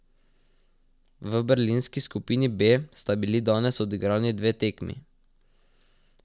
V berlinski skupini B sta bili danes odigrani dve tekmi.